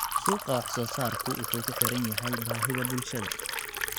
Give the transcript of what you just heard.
Suuqa wax-soo-saarku wuxuu ku xiran yahay baahida bulshada.